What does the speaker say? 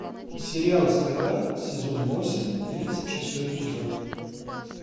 сериал стрела сезон восемь тридцать шестой эпизод